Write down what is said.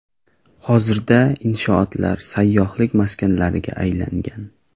Hozirda inshootlar sayyohlik maskanlariga aylangan.